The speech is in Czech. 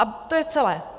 A to je celé.